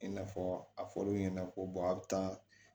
I n'a fɔ a fɔr'olu ɲɛna ko a bɛ taa